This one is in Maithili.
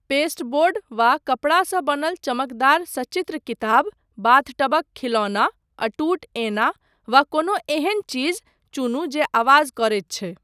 पेस्टबोर्ड वा कपड़ा सँ बनल चमकदार सचित्र किताब, बाथटबक खिलौना, अटूट ऐना, वा कोनो एहन चीज चुनू जे आवाज करैत छै। .